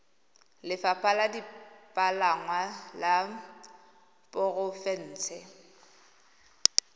lefapha la dipalangwa la porofense